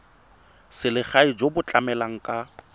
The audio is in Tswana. selegae jo bo tlamelang ka